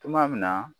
Tuma min na